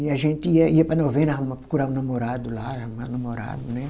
E a gente ia ia para novena arrumar, procurava namorado lá, arrumar namorado, né?